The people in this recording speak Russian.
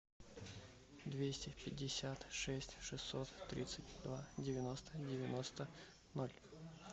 двести пятьдесят шесть шестьсот тридцать два девяносто девяносто ноль